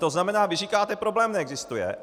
To znamená, vy říkáte problém neexistuje.